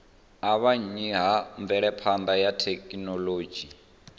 avhanya ha mvelaphana ya thekhinolodzhi